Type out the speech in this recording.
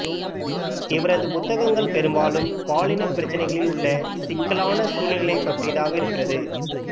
இவரது புத்தகங்கள் பெரும்பாலும் பாலின பிரச்சினைகளில் உள்ள சிக்கலான சூழ்நிலைகளை பற்றியதாக இருக்கிறது